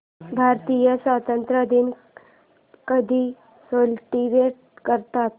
भारतीय स्वातंत्र्य दिन कधी सेलिब्रेट करतात